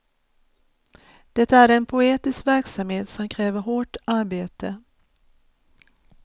Det är en poetisk verksamhet som kräver hårt arbete.